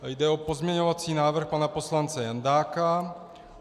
Jde o pozměňovací návrh pana poslance Jandáka.